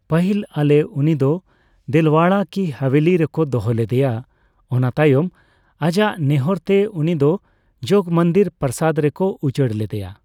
ᱯᱟᱹᱦᱤᱞ ᱚᱞᱮ ᱩᱱᱤ ᱫᱚ ᱫᱮᱞᱣᱟᱲᱟ ᱠᱤ ᱦᱟᱵᱷᱮᱞᱤ ᱨᱮᱠᱚ ᱫᱚᱦᱚ ᱞᱮᱫᱮᱭᱟ ᱚᱱᱟ ᱛᱟᱭᱚᱢ ᱟᱡᱟᱜ ᱱᱮᱦᱚᱨ ᱛᱮ ᱩᱱᱤ ᱫᱚ ᱡᱚᱜ ᱢᱚᱱᱫᱤᱨ ᱯᱨᱟᱥᱟᱰ ᱨᱮᱠᱚ ᱩᱪᱟᱹᱲ ᱞᱮᱫᱮᱭᱟ ᱾